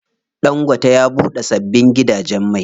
Ɗangote ya buɗe sabbin gidajen mai.